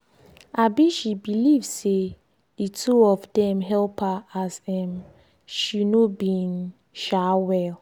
um she believe say the two of dem help her as um she no been um well